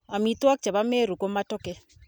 Amitwokik che bo Meru ko Matoke.